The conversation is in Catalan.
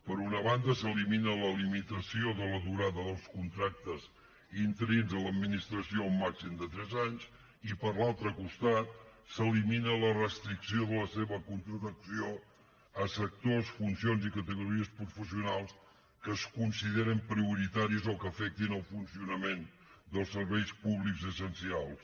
per una banda s’elimina la limitació de la durada dels contractes interins a l’administració a un màxim de tres anys i per l’altre costat s’elimina la restricció de la seva contractació a sectors funcions i categories professionals que es consideren prioritaris o que afectin el funcionament dels serveis públics essencials